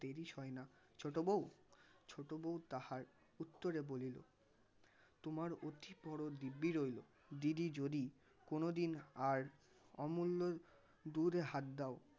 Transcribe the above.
দেরি সয়না ছোটো বউ. ছোটো বউ তাহার উত্তরে বলিল তোমার অতি দিব্যি রইল দিদি যদি কোনোদিন আর অমুল্যর দুধে হাত দাও